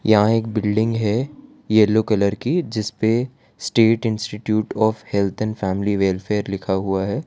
यहां एक बिल्डिंग है येलो कलर की जिस पे state institute of health and family welfare लिखा हुआ है।